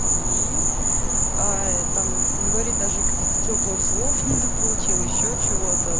и там говорить даже каких то тёплых слов не дополучила ещё чего то